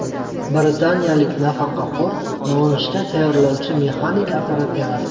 Britaniyalik nafaqaxo‘r nonushta tayyorlovchi mexanik apparat yaratdi .